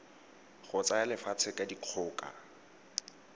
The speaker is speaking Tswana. go tsaya lefatshe ka dikgoka